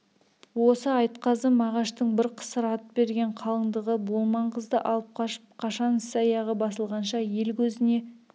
осы айтқазы мағаштың бір қысыр ат берген қалыңдығы болман қызды алып қашып қашан іс аяғы басылғанша ел көзіне